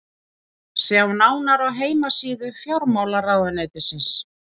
sjá nánar á heimasíðu fjármálaráðuneytisins